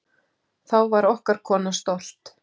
Þá var okkar kona stolt.